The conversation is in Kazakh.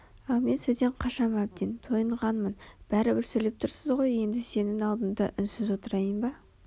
ал мен сөзден қашам әбден тойынғамын бәрібір сөйлеп тұрсыз ғой енді сенің алдыңда үнсіз отырайын ба